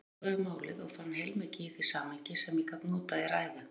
Ég athugaði málið og fann heilmikið í því samhengi, sem ég gat notað í ræðu.